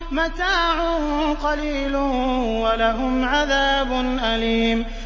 مَتَاعٌ قَلِيلٌ وَلَهُمْ عَذَابٌ أَلِيمٌ